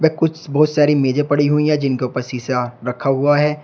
कुछ बहुत सारी मेजे पड़ी हुई है जिनके ऊपर शिशा रखा हुआ है।